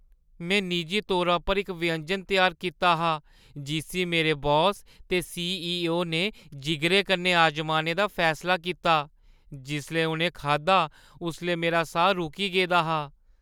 में निजी तौरा पर इक व्यंजन त्यार कीता हा जिस्सी मेरे बॉस ते सीईओ ने जिगरे कन्नै अजमाने दा फैसला कीता। जिसलै उʼनें खाद्धा उसलै मेरा साह् रुकी गेदा हा।